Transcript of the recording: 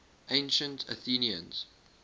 ancient athenians